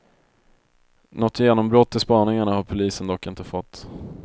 Något genombrott i spaningarna har polisen dock inte fått.